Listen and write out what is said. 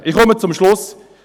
Ich komme zum Schluss.